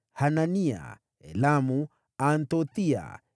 Hanania, Elamu, Anthothiya,